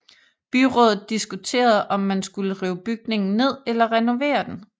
Byrådet diskuterede om man skulle rive bygningen ned eller renovere den